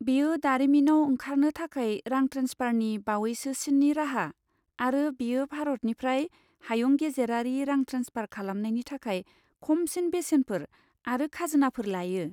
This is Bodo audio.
बेयो दारिमिनाव ओंखारनो थाखाय रां ट्रेन्सफारनि बावैसोसिननि राहा, आरो बेयो भारतनिफ्राय हायुं गेजेरारि रां ट्रेन्सफार खालामनायनि थाखाय खमसिन बेसेनफोर आरो खाजोनाफोर लायो।